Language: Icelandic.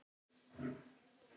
Þú átt þér tröð.